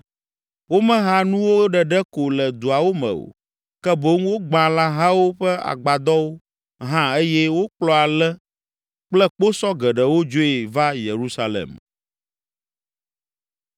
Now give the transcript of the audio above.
Womeha nuwo ɖeɖe ko le duawo me o, ke boŋ wogbã lãhawo ƒe agbadɔwo hã eye wokplɔ ale kple kposɔ geɖewo dzoe va Yerusalem.